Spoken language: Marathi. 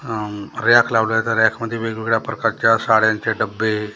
उम्म रॅक लावलाय त्या रॅकमध्ये वेगवेगळ्या प्रकारच्या साड्यांचे डब्बे--